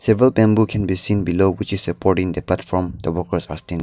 table bamboo can be seen below which is supporting the platform the workers are standi--